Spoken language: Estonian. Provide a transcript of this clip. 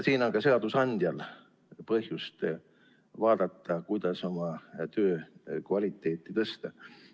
Siin on ka seadusandjal põhjust vaadata, kuidas oma töö kvaliteeti tõsta.